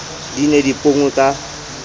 di ne di ponngwe ka